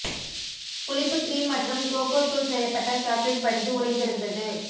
புளிப்பு கிரீம் மற்றும் கோகோ தூள் செய்யப்பட்ட சாக்லேட் படிந்து உறைந்திருந்தது